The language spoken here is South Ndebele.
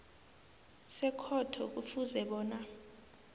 sekhotho kufuze bona